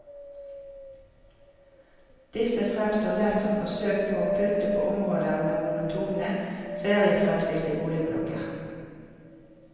Disse fremstår lett som forsøk på å pynte på områder med monotone, seriefremstilte boligblokker.